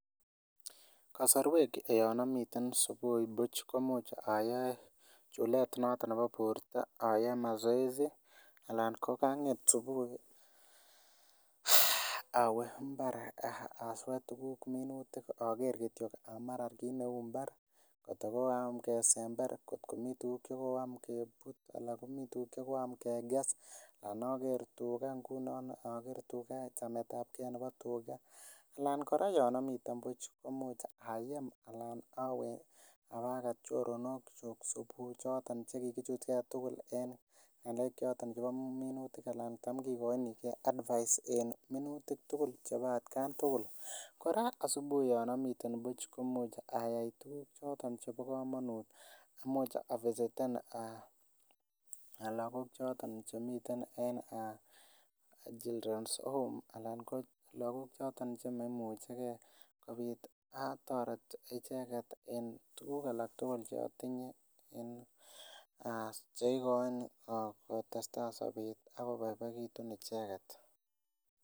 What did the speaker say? Kasorwek yon amiten subui buch komuch oyoe chulet noton nebo borto ayoe mazoezi anan ko kaang'et subui awe mbar aswee tuguk minutik oker kityok kit neuu mbar kot ko koyam kesember mbar kot komii tuguk chekoyam kebut anan komii tuguk chekoyam kekes anan oker tuga oker chametabgee nebo tuga ana kora yon omiten buch komuch ayem alan awe abakat choronok kyuk subui noton chekikichutgee tugul en ng'alek choton chebo minutik anan tam kikoinigii advice en minutik chebo atkan tugul kora asubuhi yan omiten buch komuch ayai tuguk choton chebo komonut imuch avisiten lagok choton chemiten en children's home ana lagok choton chemoimuchegee kobit atoret icheket en tuguk alak tugul chotinye en cheikoin kotesetai sobet akoboiboiekitun icheket